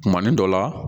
Kumanin dɔ la